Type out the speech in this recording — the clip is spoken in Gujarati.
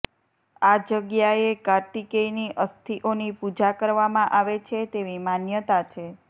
આ જગ્યાએ કાર્તિકેયની અસ્થિઓની પૂજા કરવામાં આવે છે તેવી માન્યતા છે